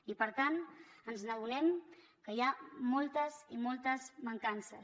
i per tant ens adonem que hi ha moltes i moltes mancances